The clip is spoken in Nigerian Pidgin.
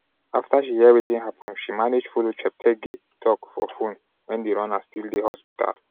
afta she hear wetin happun she manage follow cheptegei tok for phone wen di runner still dey hospital.